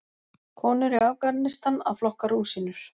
Konur í Afganistan að flokka rúsínur.